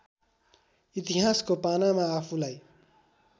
इतिहासको पानामा आफूलाई